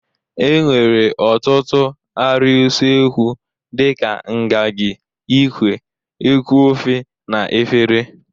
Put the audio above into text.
E nwere ọtụtụ arịa usekwu dị ka ngagị, ikwe, eku ofe na efere.